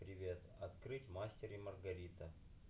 привет открыть мастер и маргарита